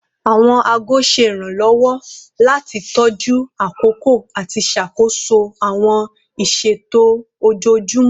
Awọn aago ṣe iranlọwọ lati tọju akoko ati ṣakoso awọn iṣeto ojoojumọ